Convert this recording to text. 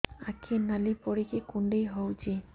ଆଖି ନାଲି ପଡିକି କୁଣ୍ଡେଇ ହଉଛି